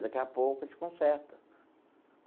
Daqui a pouco a gente conserta.